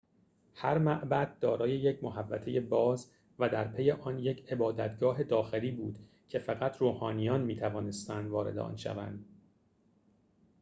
هر معبد دارای یک محوطه باز و درپی آن یک عبادتگاه داخلی بود که فقط روحانیان می‌توانستند وارد آن شوند